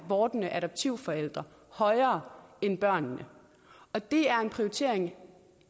vordende adoptivforældre højere end børnene og det er en prioritering